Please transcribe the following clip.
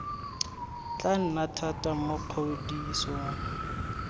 tla nna thata mo kgodisong